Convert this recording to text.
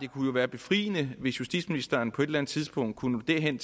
kunne være befriende hvis justitsministeren på et eller andet tidspunkt kunne nå derhen